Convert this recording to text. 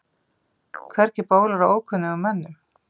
Hvergi bólar á ókunnugum mönnum.